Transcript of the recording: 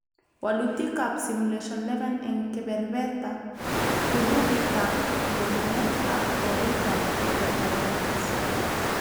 Walutik ab Simulation 11 eng kebeberta, kurupitab nyorunet ak oritab kotoet